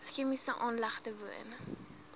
chemiese aanlegte woon